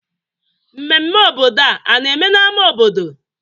Mmemme obodo a na-eme n'ámá obodo?